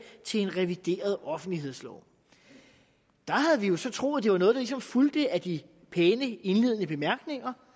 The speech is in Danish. til en revideret offentlighedslov der havde vi jo så troet at det var noget der ligesom fulgte af de pæne indledende bemærkninger